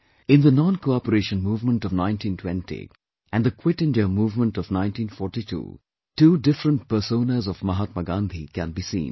In the 'NonCooperation Movement' of 1920 and the 'Quit India Movement' of 1942, two different personas of Mahatma Gandhi can be seen